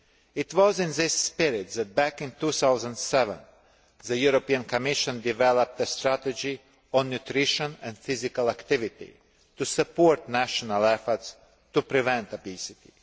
It was in this spirit that, back in 2007, the Commission developed a strategy on nutrition and physical activity to support national efforts to prevent obesity.